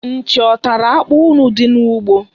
Nchi ọ tara akpụ unu dị n'ugbo?